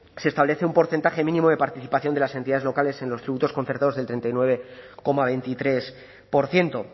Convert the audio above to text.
se establece un porcentaje mínimo de participación de las entidades locales en los tributos concertados del treinta y nueve coma veintitrés por ciento